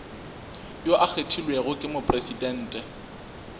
yo a kgethilwego ke mopresidente